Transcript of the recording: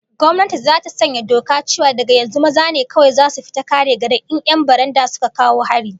Gwamnati zata sanya doka cewa daga yanzu maza ne kawai zasu fita kare garin in 'yan baranda suka kawo hari